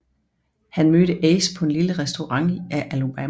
Han mødte Ace på en lille restaurant i Alubarna